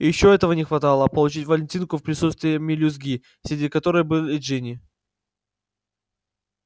ещё этого не хватало получить валентинку в присутствии мелюзги среди которой была и джинни